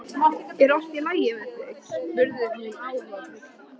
Er allt í lagi með þig? spurði hún áhyggjufull.